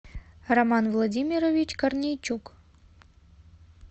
роман владимирович корнейчук